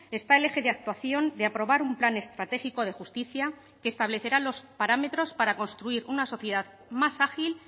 está el eje de actuación de aprobar un plan estratégico de justicia que establecerá los parámetros para construir una sociedad más ágil